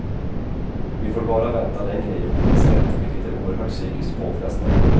Vi får bara vänta längre i ovisshet, vilket är oerhört psykiskt påfrestande.